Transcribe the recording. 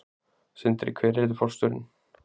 Sindri: Hver yrði forstjórinn?